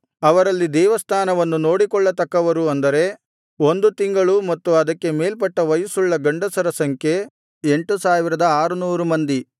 ಅವರಲ್ಲಿ ದೇವಸ್ಥಾನವನ್ನು ನೋಡಿಕೊಳ್ಳತಕ್ಕವರು ಅಂದರೆ ಒಂದು ತಿಂಗಳು ಮತ್ತು ಅದಕ್ಕೆ ಮೇಲ್ಪಟ್ಟ ವಯಸ್ಸುಳ್ಳ ಗಂಡಸರ ಸಂಖ್ಯೆ 8600 ಮಂದಿ